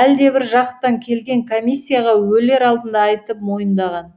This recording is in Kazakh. әлдебір жақтан келген комиссияға өлер алдында айтып мойындаған